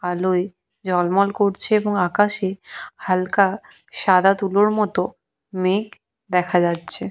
আলোয় ঝলমল করছে এবং আকাশে হালকা সাদা তুলোর মতো মেঘ দেখা যাচ্ছে।